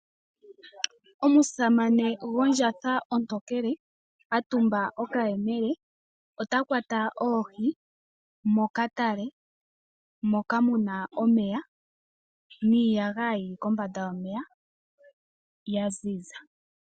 Omusamane gondjatha ontokele a tumba okayemele ota kwata oohi mokatale moka mu na omeya niiyagaya yi li kombanda yomeya ya ziza.